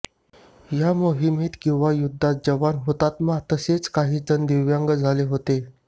या मोहिमेत किंवा युद्धात जवान हुतात्मा तसेच काही जण दिव्यांग झाले होते